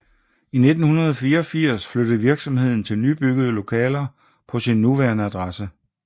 I 1984 flyttede virksomheden til nybyggede lokaler på sin nuværende adresse